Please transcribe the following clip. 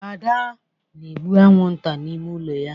Ada na-egbu anwụnta n'ime ụlọ ya